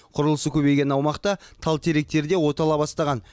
құрылысы көбейген аумақта тал теректер де отала бастаған